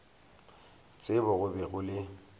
tsebo go be go le